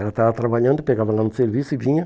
Ela estava trabalhando, pegava ela no serviço e vinha.